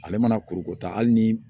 Ale mana kuruko ta hali ni